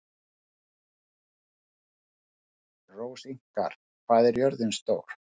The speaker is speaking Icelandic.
Rósinkar, hvað er jörðin stór?